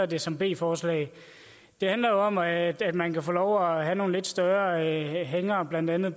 det som b forslag det handler om at at man kan få lov til at have nogle lidt større anhængere på blandt andet